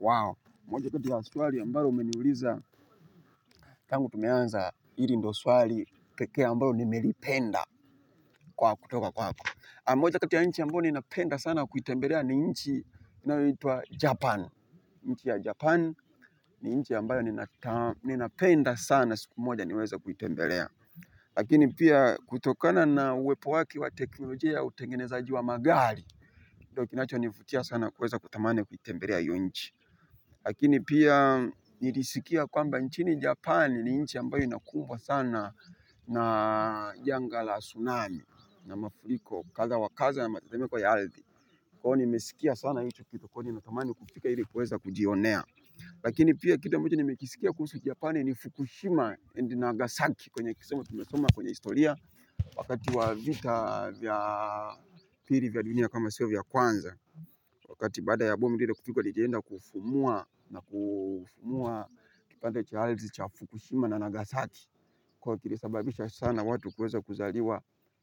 Wao moja kati ya swali ambayo umeniuliza tangu tumeanza hili ndo swali pekee ambalo nimelipenda kutoka kwako moja kati ya nchi ambayo ninapenda sana kuitembelea ni nchi inayoitwa japan, nchi ya japan ni nchi ambayo ninapenda sana siku moja niweze kuitembelea lakini pia kutokana na uwepo wake wa teknolojia utengenezaaji wa magari ndicho kinachonivutia sana kuweza kutamani kuitembelea hiyo Nchi. Lakini pia nilisikia kwamba nchini japani ni nchini ambayo inakumbwa sana na janga la tsunami na mafuriko kadha wa kadha ya matetemeko kwa ya ardhi, kwao hivyo nimesikia sana hicho kitu kwani nilitamani kufika ili kuweza kujionea. Lakini pia kitu amacho nimekisikia kuhusu japani ni Fukushima and Nagasaki kwenye kisomo tumesoma kwenye historia wakati wa vita vya pili vya dunia kama siyo vya kwanza. Wakati baada ya bomu lile kupigwa lilienda kufumua na kufumua kipande cha ardhi cha Fukushima na Nagasaki Kwa hivyo kilisababisha sana watu kueza kuzaliwa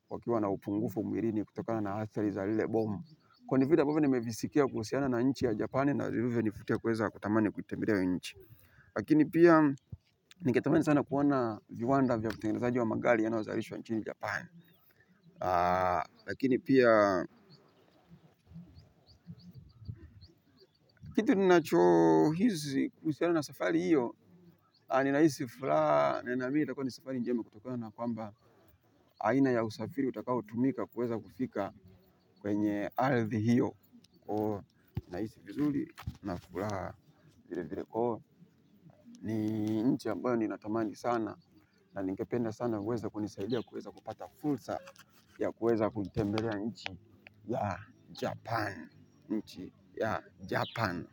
wakiwa na upungufu mwilini kutokana na athari za lile bomu kwani vile amabvyo nimevisikia kuhusiana na nchi ya Japani na zilivyo nivutia kueza kutamani kuitembelea hiyo Nchi. Lakini pia ningetamani sana kuona viwanda vya utengazaji wa magari yanayozalishwa wa Nchini Japani. Lakini pia kitu ninachohisi kuhusiana na safari hiyo ninahisi furaha na ninaamini itakuwa ni safari njema kutokona na kwamba aina ya usafiri utakaotumika kuweza kufika kwenye ardhi hiyo kwa hivo nahisi vizuri na furahaa vile vile. Ni nchi ambayo ninatamani sana na ningependa sana kuweza kunisaidia kuweza kupata fursa ya kuweza kutembelea nchi ya Japan. Nchi ya Japan.